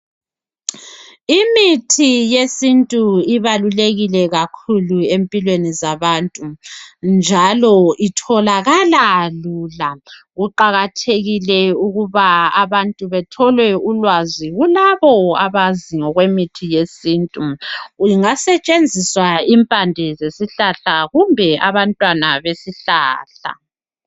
Imithi yesintu ibalulekile kakhulu empilweni zabantu njalo itholakala lula. Kuqakathekile ukuba abantu bathole ulwazi kulabo abazi ngokwemithi yesintu. Kungasetshenziswa impande zesihlahla kumbe abantwana besihlahla.